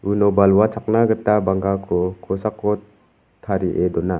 uno balwa chakna gita bangkako kosako tarie dona.